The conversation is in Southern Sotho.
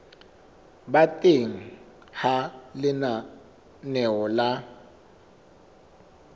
ba teng ha lenaneo la